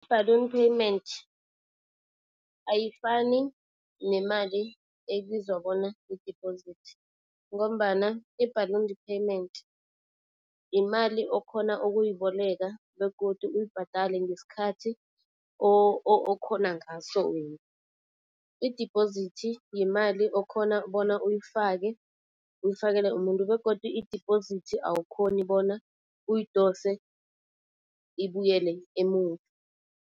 I-ballon payment ayifani nemali ebizwa bona yi-deposit ngombana i-ballon payment yimali okhona ukuyiboleka begodu uyibhadale ngesikhathi okhona ngaso wena. Idibhozithi yimali okhona bona uyifake, uyifakele umuntu begodu idibhozithi awukhoni bona uyidose ibuyele emuva.